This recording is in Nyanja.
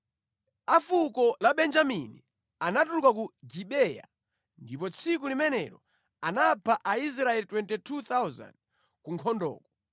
A fuko la Benjamini anatuluka ku Gibeya ndipo tsiku limenelo anapha Aisraeli 22,000 ku nkhondoko.